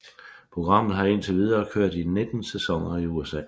Programmet har indtil videre kørt i 19 sæsoner i USA